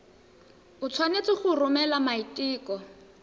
o tshwanetse go romela maiteko